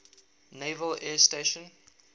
naval air station